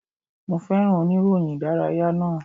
Mo féràn oníròyìn ìdárayá náà.